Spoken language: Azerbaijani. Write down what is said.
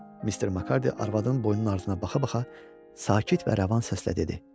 Mister Makardi arvadın boynunun ardına baxa-baxa sakit və rəvan səslə dedi: